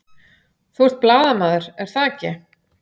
Þú ert blaðamaður, er það ekki?